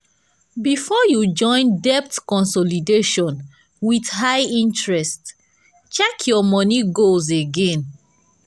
[um]before you join debt consolidation with high interest check your money goals again.